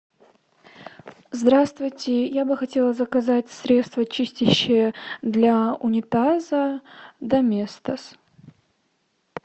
здравствуйте я бы хотела заказать средство чистящее для унитаза доместос